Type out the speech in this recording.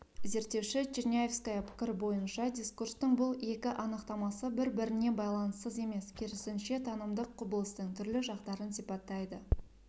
зерттеуші черняевская пікірі бойынша дискурстың бұл екі анықтамасы бір-біріне байланыссыз емес керісінше танымдық құбылыстың түрлі жақтарын сипаттайды